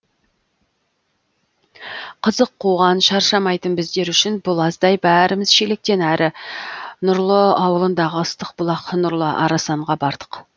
қызық қуған шаршамайтын біздер үшін бұл аздай бәріміз шелектен әрі нұрлы ауылындағы ыстық бұлақ нұрлы арасанға бардық